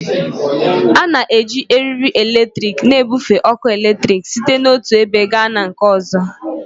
A na-eji eriri eletrik na-ebufe ọkụ eletrik site n'otu ebe gaa na nke ọzọ